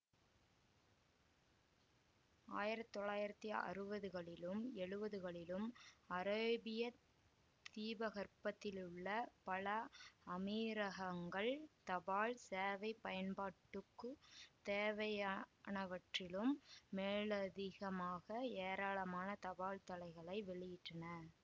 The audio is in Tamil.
ஆயிரத்தி தொள்ளாயிரத்தி அறுவதுகளிலும் எழுவதுகளிலும் அரேபியத் தீபகற்பத்திலுள்ள பல அமீரகங்கள் தபால் சேவை பயன்பாட்டுக்குத் தேவையானவற்றிலும் மேலதிகமாக ஏராளமான தபால்தலைகளை வெளியிட்டன